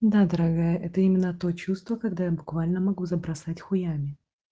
да дорогая это именно то чувство когда я буквально могу забросать хуями